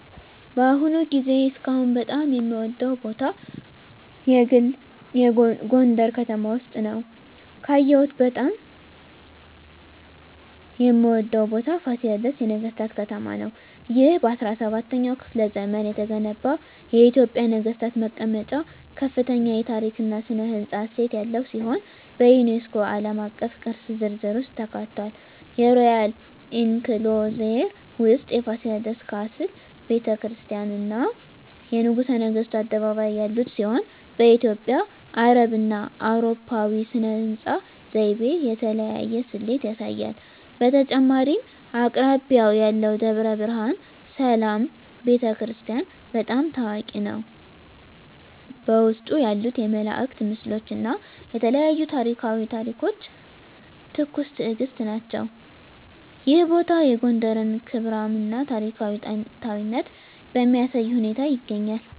በአሁኑ ጊዜ እስካሁን በጣም የምወደዉ ቦታ የግል ጎንደረ ከተማ ውስጥ ነዉ። ካየሁት በጣም የምወደው ቦታ ፋሲለደስ የነገሥታት ከተማ ነው። ይህ በ17ኛው ክፍለ ዘመን የተገነባ የኢትዮጵያ ነገሥታት መቀመጫ ከፍተኛ የታሪክ እና ሥነ ሕንፃ እሴት ያለው ሲሆን፣ በዩኔስኮ ዓለም አቀፍ ቅርስ ዝርዝር ውስጥ ተካትቷል። የሮያል ኢንክሎዜር ውስጥ የፋሲለደስ ካስል፣ ቤተ ክርስቲያናት፣ እና የንጉሠ ነገሥቱ አደባባይ ያሉት ሲሆን፣ በኢትዮጵያ፣ አረብና አውሮፓዊ ሥነ ሕንፃ ዘይቤ የተለያየ ስሌት ያሳያል። በተጨማሪም አቅራቢያው ያለው ደብረ ብርሃን ሰላም ቤተ ክርስቲያን** በጣም ታዋቂ ነው፣ በውስጡ ያሉት የመላእክት ምስሎች እና የተለያዩ ታሪኳዊ ታሪኮች ትኩስ ትእግስት ናቸው። ይህ ቦታ የጎንደርን ክብራም እና ታሪካዊ ጥንታዊነት በሚያሳይ ሁኔታ ይገኛል።